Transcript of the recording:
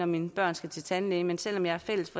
mine børn skal til tandlægen men selv om jeg har fælles